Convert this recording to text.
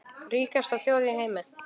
Ríkasta þjóð í heimi.